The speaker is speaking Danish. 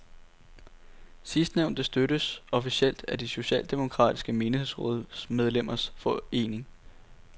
Sidstnævnte støttes officielt af de socialdemokratiske menighedsrådsmedlemmers forening.